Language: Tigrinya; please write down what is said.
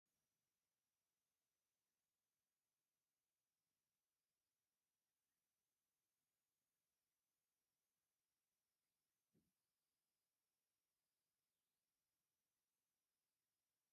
ናይ ፌደራል ፖሊስ ኣባላት ኣብ ኣዳራሽ ተኣኪቦም ይርአዩ ኣለዉ፡፡ እዞም ሰራዊት ኣብ ሃገር ሙሉእ ኣብ ግዳጅ ዝዋፈሩ እዮም፡፡ ነዚ ሓይሊ ምድርጃው ዘድለየሉ ምኽንያት እንታይ እዩ?